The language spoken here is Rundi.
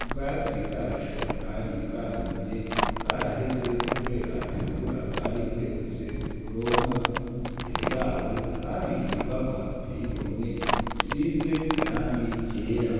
ubwatsi bwaco bwari bwarumye bwaraheze, kubera atamvura bwari buherutse kuronka imbere yaho hari inyubakwa teyigomwe risize irangi ryera.